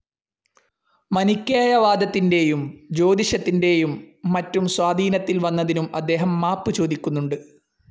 മനിക്കേയ വാദത്തിന്റേയും ജ്യോതിഷത്തിന്റേയും മറ്റും സ്വാധീനത്തിൽ വന്നതിനും അദ്ദേഹം മാപ്പു ചോദിക്കുന്നുണ്ട്.